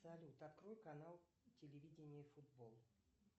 салют открой канал телевидение футбол